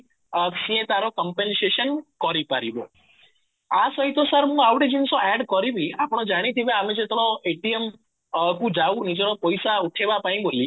ଅ ସିଏ ତାର compensation କରିପାରିବ ଆ ସହିତ ସାର ମୁଁ ଆଉ ଗୋଟେ ଜିନିଷ add କରିବି କି ଆପଣ ଜାଣିଥିବେ ଆମେ ଯେତେ ବେଳ କୁ ଯାଉ ନିଜର ପଇସା ଉଠେଇବା ପାଇଁ ବୋଲି